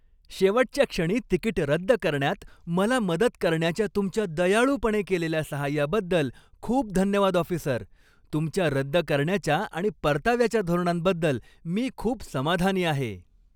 शेवटच्या क्षणी तिकीट रद्द करण्यात मला मदत करण्याच्या तुमच्या दयाळूपणे केलेल्या सहाय्याबद्दल खूप धन्यवाद ऑफिसर, तुमच्या रद्द करण्याच्या आणि परताव्याच्या धोरणांबद्दल मी खूप समाधानी आहे.